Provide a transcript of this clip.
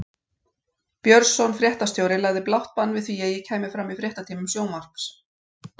Björnsson fréttastjóri lagði blátt bann við því að ég kæmi fram í fréttatímum sjónvarps.